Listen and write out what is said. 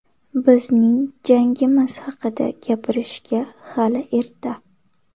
Bizning jangimiz haqida gapirishga hali erta.